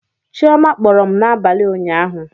Chioma kpọrọ m n'abalị ụnyaahụ